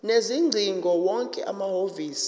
sezingcingo wonke amahhovisi